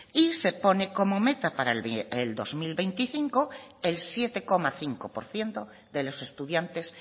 y se pone como meta para el dos mil veinticinco el siete coma cinco por ciento de los estudiantes